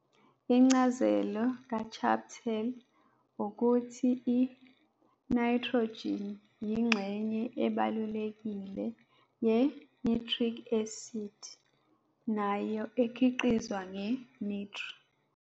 Incazelo kaChaptal ukuthi i-nitrogen yingxenye ebalulekile ye-nitric acid, nayo ekhiqizwa nge-nitre.